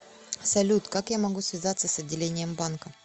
салют как я могу связаться с отделением банка